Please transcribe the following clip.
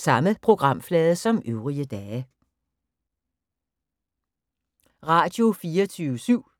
Radio24syv